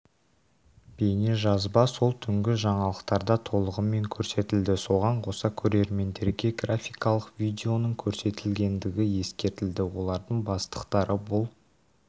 бейнежазба сол түнгі жаңалықтарда толығымен көрсетілді соған қоса көрермендерге графикалық видеоның көрсетілетіндігі ескертілді олардың бастықтары бұл